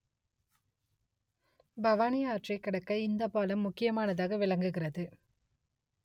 பவானி ஆற்றை கடக்க இந்த பாலம் முக்கியமானதாக விளங்குகிறது